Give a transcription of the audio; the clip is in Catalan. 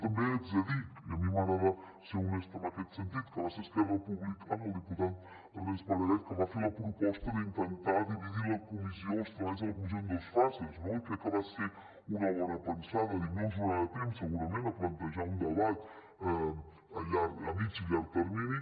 també haig de dir i a mi m’agrada ser honesta en aquest sentit que va ser esquerra republicana el diputat ernest maragall qui va fer la proposta d’intentar dividir els treballs de la comissió en dues fases no i crec que va ser una bona pensada dir no tindrem temps segurament de plantejar un debat a mitjà i a llarg termini